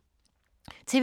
TV 2